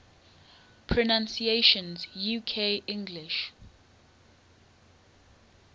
pronunciations uk english